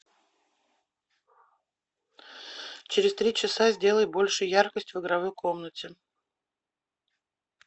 через три часа сделай больше яркость в игровой комнате